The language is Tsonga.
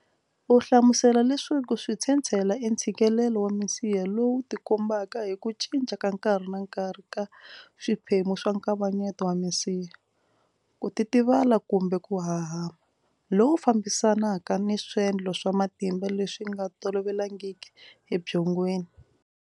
U hlamusela leswaku switshetshela i ntshikelelo wa misiha lowu tikombaka hi ku cinca ka nkarhi na nkarhi ka swiphemu swa nkavanyeto wa misiha, ku titivala kumbe ku hahama, loku fambisanaka ni swendlo swa matimba leswi nga tolovelekangiki ebyongweni.